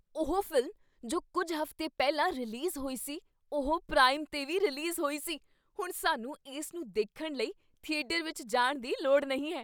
ਉਹ ਫ਼ਿਲਮ ਜੋ ਕੁੱਝ ਹਫ਼ਤੇ ਪਹਿਲਾਂ ਰਿਲੀਜ਼ ਹੋਈ ਸੀ, ਉਹ ਪ੍ਰਾਈਮ 'ਤੇ ਵੀ ਰਿਲੀਜ਼ ਹੋਈ ਸੀ! ਹੁਣ ਸਾਨੂੰ ਇਸ ਨੂੰ ਦੇਖਣ ਲਈ ਥੀਏਟਰ ਵਿੱਚ ਜਾਣ ਦੀ ਲੋੜ ਨਹੀਂ ਹੈ!